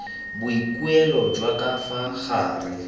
boikuelo jwa ka fa gare